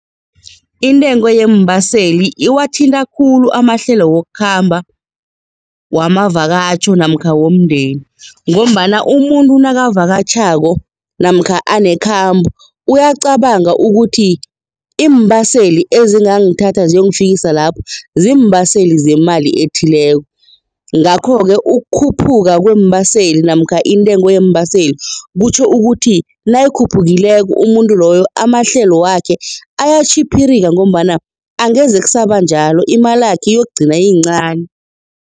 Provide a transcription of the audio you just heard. Intengo yeembaseli iwathinta khulu amahlelo wokukhamba, wamavakatjho namkha womndeni ngombana umuntu nakavakatjhako namkha anekhambo uyacabanga ukuthi iimbaseli ezingangithatha ziyongifikisa lapho, ziimbaseli zemali ethileko ngakho-ke, ukukhuphuka kweembaselini namkha intengo yeembaseli kutjho ukuthi nayikhuphukileko umuntu loyo amahlelo wakhe ayatjhiphirika ngombana angeze kusaba njalo imalakhe yokugcina iyincani.